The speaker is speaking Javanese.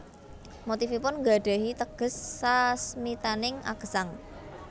Motifipun nggadhahi teges sasmitaning agesang